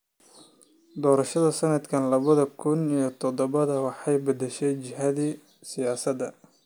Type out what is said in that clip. Doorashadii sanadka labada kun iyo todobada waxay beddeshay jihadii siyaasadda.